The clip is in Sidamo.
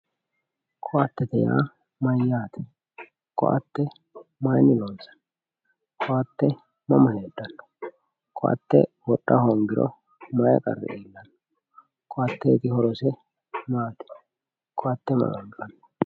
Ko`atete yaa mayaate ko`ate mayini lonsani ko`ate mama hedhano ko`ate wodha hongiro mayi qari iilano ko`ateeti horose maati ko`ate mama anfani.